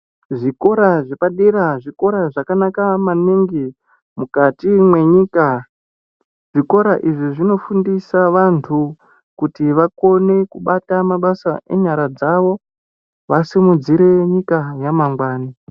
Zvikora zvepadera zvikora zvakanaka maningi mukati mwenyika, zvikora izvi zvinofundisa vantu kuti vakone kubata mabasa enyara dzawo vasimuzire nyika yamangwani.